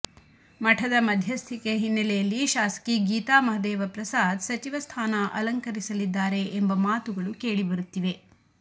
ಮಠದ ಮಧ್ಯಸ್ಥಿಕೆ ಹಿನ್ನೆಲೆಯಲ್ಲಿ ಶಾಸಕಿ ಗೀತಾ ಮಹದೇವಪ್ರಸಾದ್ ಸಚಿವ ಸ್ಥಾನ ಅಲಂಕರಿಸಲಿದ್ದಾರೆ ಎಂಬ ಮಾತುಗಳು ಕೇಳಿಬರುತ್ತಿವೆ